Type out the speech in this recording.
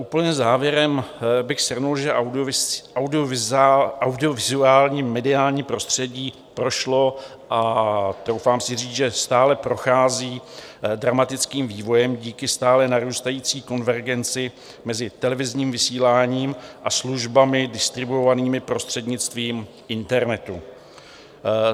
Úplně závěrem bych shrnul, že audiovizuální mediální prostředí prošlo, a troufám si říci, že stále prochází, dramatickým vývojem díky stále narůstající konvergenci mezi televizním vysíláním a službami distribuovanými prostřednictvím internetu.